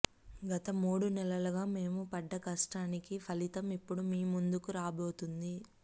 గత మూడు నెలలుగా మేం పడ్డ కష్టానికి ఫలితం ఇప్పుడు మీ ముందుకు రాబోతుంది